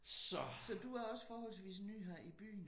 Så du er også forholdsvis ny her i byen?